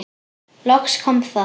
Loks kom það.